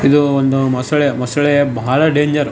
ಇದು ಒಂದು ಮೊಸಳೆ ಮೊಸಳೆ ಬಹಳ ಡಂಜರು .